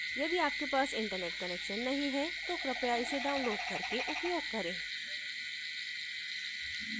यदि आपके पास internet connection नहीं है तो कृपया इसे download करके उपयोग करें